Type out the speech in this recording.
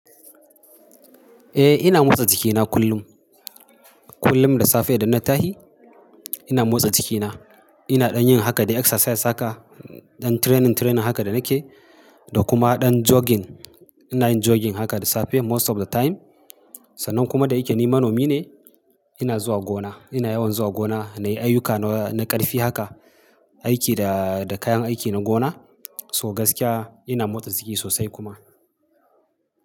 Eh ina motsa jikina kullum. Kullum da safe idan na tashi ina motsa jikina. Ina ɗan yin haka dai exercise haka, ɗan training training haka da nake da kuma ɗan jogging. Ina yin jogging haka da safe most of the time. Sannan kuma da yake ni manomi ne ina zuwa gona. Ina yawan zuwa gona na yi ayyuka na ƙarfi haka, aiki da, da kayan aiki na gona. So gaskiya ina motsa jiki sosai kuma.